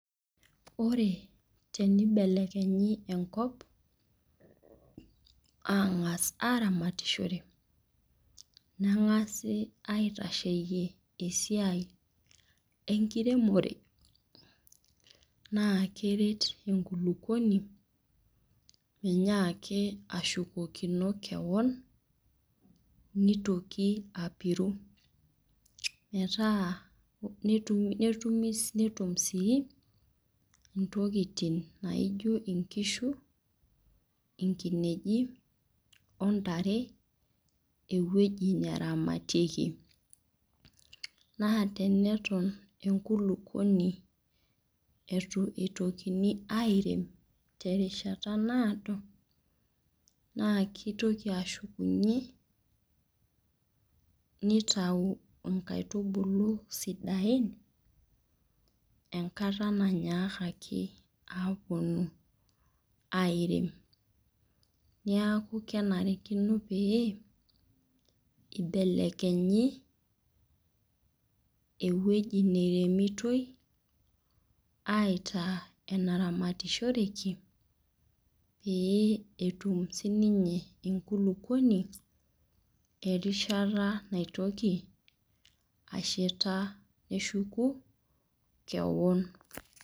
Ore teneibelekenyi enkop, aang'as aramatishore, neng'asi aing'ua esiai enkiremore, naa keret enkulukuoni, menyaaki ashukukino kewan, neitoki apiru. Meataa netum sii intokitin naijo inkishu, inkinejik o ntare ewueji naramatieki. Naa teneton enkulukuoni eitu eitokini airem terishata naado, naa keitoki ashukunye, neitayu inkaitubulu sidain enkata nanyakaki awuonu airem. Neaku kenarikino pee eibelekenyi ewueji neiremitoi aitaa enaramatishoreki pee etum sii ninye enkulukuoni erishata naitoki ashetaa neshuku kewon.